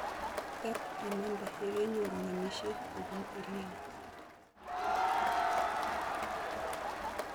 Tet imande yekenyoru ng'emisiet kobun EL Nino